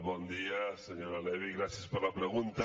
bon dia senyora levy i gràcies per la pregunta